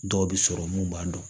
Dɔw bɛ sɔrɔ mun b'a dɔn